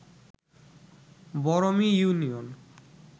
Barmi union